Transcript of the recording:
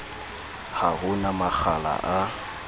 ha ho na makgala a